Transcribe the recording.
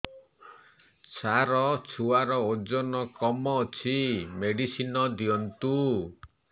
ସାର ଛୁଆର ଓଜନ କମ ଅଛି ମେଡିସିନ ଦିଅନ୍ତୁ